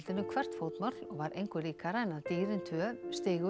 hvert fótmál og var engu líkara en að dýrin tvö